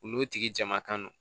U n'o tigi jama kan